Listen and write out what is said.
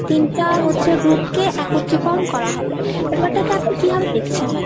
তিনটা হচ্ছে group কে একত্রীকরণ করা হবে। ব্যাপারটাকে আপনি কিভাবে দেখছেন ?